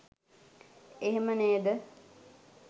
එහෙම නේද